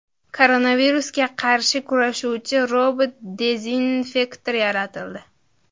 Koronavirusga qarshi kurashuvchi robot-dezinfektor yaratildi.